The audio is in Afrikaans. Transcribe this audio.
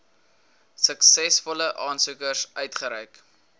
suksesvolle aansoekers uitgereik